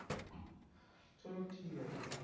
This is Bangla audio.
চলো ঠিক আছে।